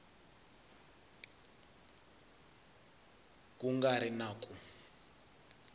ku nga ri na ku